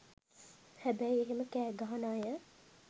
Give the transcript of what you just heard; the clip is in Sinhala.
හැබැයි එහෙම කෑගහන අය